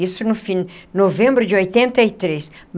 Isso no fim novembro de oitenta e três.